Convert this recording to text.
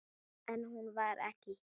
En hún var ekki hér.